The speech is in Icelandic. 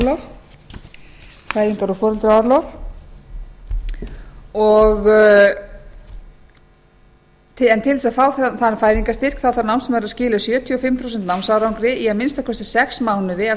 um fæðingar og foreldraorlof en til að fá þann fæðingarstyrk þarf námsmaður að skila sjötíu og fimm prósent námsárangri í að minnsta kosti sex mánuði á